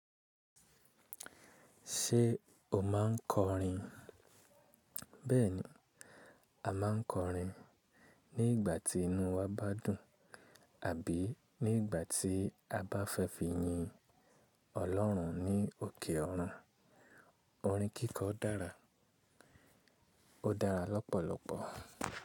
Ṣé o máa ń kọrin? Bẹ́ẹ̀ni, a máà ń kọrin ní ìgbà tí inú wa bá dùn, àbí ní ìgbà tí a bá fẹ́ fi yin Ọlọ́run ní òkè ọrun. Orin kíkọ dára, ó dára lọ́pọ̀lọpọ̀.